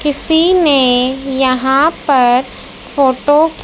किसी ने यहां पर फोटो --